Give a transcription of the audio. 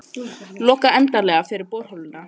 Loka endanlega fyrir borholuna